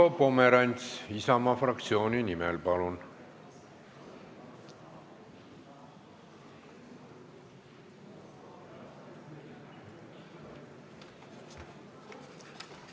Marko Pomerants Isamaa fraktsiooni nimel, palun!